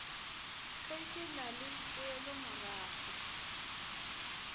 ge ke na le poelomorago